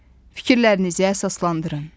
Fikirlərinizi əsaslandırın.